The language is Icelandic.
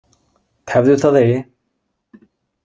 Tefðu það eigi.